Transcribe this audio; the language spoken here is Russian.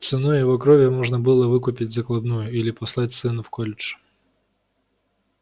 ценой его крови можно было выкупить закладную или послать сына в колледж